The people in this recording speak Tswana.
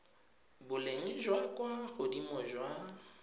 boleng jwa kwa godimo jwa